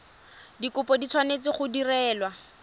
dikopo di tshwanetse go direlwa